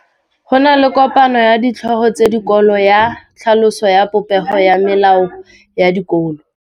Go na le kopanô ya ditlhogo tsa dikolo ya tlhaloso ya popêgô ya melao ya dikolo.